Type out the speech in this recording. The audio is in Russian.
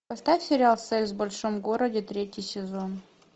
поставь сериал секс в большом городе третий сезон